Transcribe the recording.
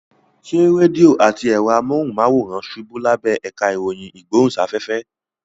Ṣé rédíò àti ẹ̀rọ amóhùnmáwòrán ṣubú lábẹ́ ẹ̀ka ìròyìn ìgbóhùnsáfẹ́fẹ́?